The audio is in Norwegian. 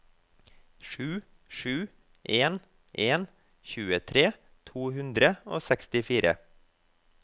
sju sju en en tjuetre to hundre og sekstifire